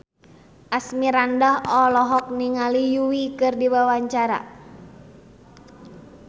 Asmirandah olohok ningali Yui keur diwawancara